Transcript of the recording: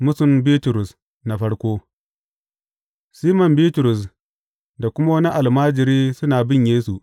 Mūsun Bitrus na farko Siman Bitrus da kuma wani almajiri suna bin Yesu.